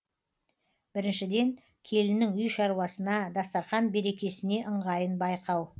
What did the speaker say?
біріншіден келіннің үй шаруасына дастарқан берекесіне ыңғайын байқау